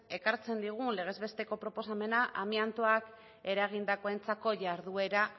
ekartzen digun legez besteko proposamena amiantoak eragindakoentzako jarduera